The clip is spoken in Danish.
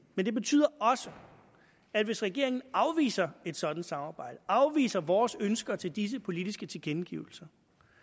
men det betyder også at hvis regeringen afviser et sådant samarbejde afviser vores ønsker til disse politiske tilkendegivelser